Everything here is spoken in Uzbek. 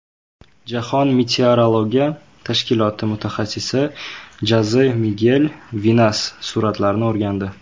Jahon meteorologiya tashkiloti mutaxassissi Joze Migel Vinas suratlarni o‘rgandi.